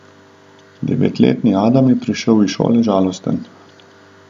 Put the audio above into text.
Devetletni Adam je prišel iz šole žalosten.